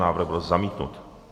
Návrh byl zamítnut.